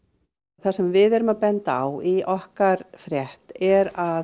það sem við erum að benda á í okkar frétt er að